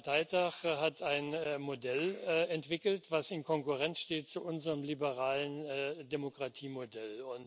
19. Parteitag hat ein Modell entwickelt, das in Konkurrenz steht zu unserem liberalen Demokratiemodell.